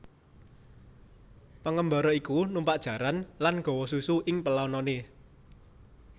Pengembara iku numpak jaran lan gawa susu ing pelanane